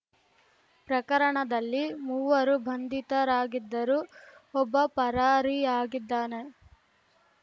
ಪ್ರಕರಣದಲ್ಲಿ ಮೂವರು ಬಂಧಿತರಾಗಿದ್ದರು ಒಬ್ಬ ಪರಾರಿಯಾಗಿದ್ದಾನೆ